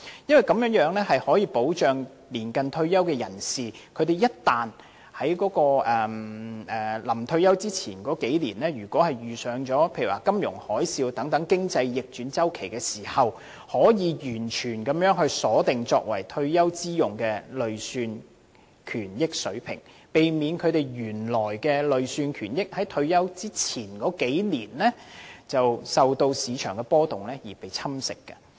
此舉可以保障年近退休的人士，一旦他們在退休前的數年間遇上金融海嘯等經濟逆轉周期，便可完全鎖定作為退休之用的累算權益水平，避免他們原來的累算權益在退休前的數年間因市場波動而被侵蝕。